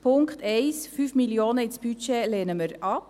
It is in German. Den Punkt 1, 5 Mio. Franken ins Budget, lehnen wir ab.